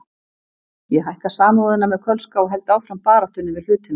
Ég hækka Samúðina með Kölska og held áfram baráttunni við hlutina.